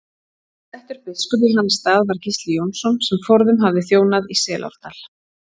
Settur biskup í hans stað var Gísli Jónsson sem forðum hafði þjónað í Selárdal.